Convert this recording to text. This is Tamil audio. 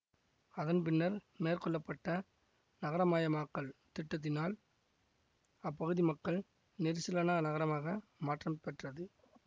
அதன் பின்னர் மேற்கொள்ள பட்ட நகரமயமாக்கல் திட்டத்தினால் அப்பகுதி மக்கள் நெரிசலான நகராக மாற்றம் பெற்றது